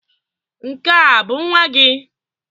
Nke a bụ nwa gị?